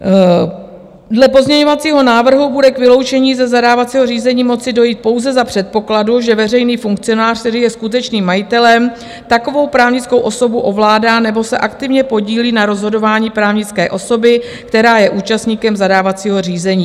Dle pozměňovacího návrhu bude k vyloučení ze zadávacího řízení moci dojít pouze za předpokladu, že veřejný funkcionář, který je skutečným majitelem, takovou právnickou osobu ovládá nebo se aktivně podílí na rozhodování právnické osoby, která je účastníkem zadávacího řízení.